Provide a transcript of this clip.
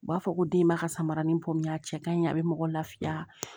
U b'a fɔ ko denba ka samaranin bɔ min a cɛ ka ɲi a bɛ mɔgɔ lafiya